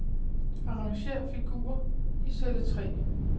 Arrangér figurer i celle tre.